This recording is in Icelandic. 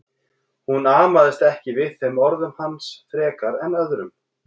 Hún amaðist ekki við þeim orðum hans frekar en öðrum.